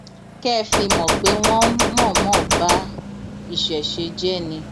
kẹ ẹ fi mọ pé wọn ń mọọnmọ ba ìṣẹṣẹ jẹ ni